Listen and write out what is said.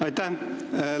Aitäh!